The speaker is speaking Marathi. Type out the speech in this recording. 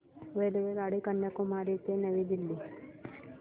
रेल्वेगाडी कन्याकुमारी ते नवी दिल्ली